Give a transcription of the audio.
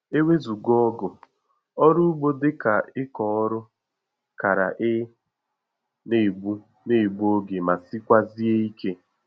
Ewezuga ọgụ, ọrụ ugbo dịka ịkọ ọrụ kara ị na-egbu na-egbu oge ma sikwazie ike